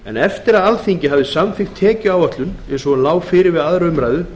eftir að alþingi hafði samþykkt tekjuáætlun eins og hún lá fyrir við aðra umræðu